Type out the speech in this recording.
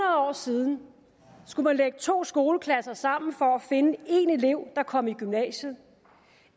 år siden skulle man lægge to skoleklasser sammen for at finde én elev der kom i gymnasiet